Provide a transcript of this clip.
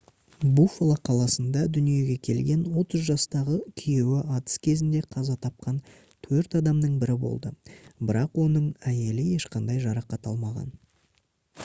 буффало қаласында дүниеге келген 30 жастағы күйеуі атыс кезінде қаза тапқан төрт адамның бірі болды бірақ оның әйелі ешқандай жарақат алмаған